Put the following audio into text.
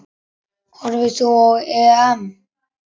Horfir þú á EM?